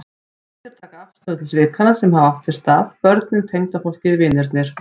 Allir taka afstöðu til svikanna sem hafa átt sér stað, börnin, tengdafólkið, vinirnir.